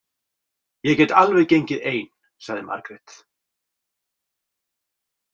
Ég get alveg gengið ein, sagði Margrét.